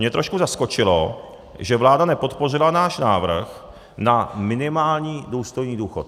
Mě trošku zaskočilo, že vláda nepodpořila náš návrh na minimální důstojný důchod.